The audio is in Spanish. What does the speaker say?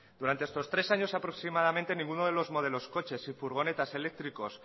durante estos tres años aproximadamente ninguno de los modelos coches y furgonetas eléctricos